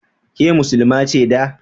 Ke Muslima ce da?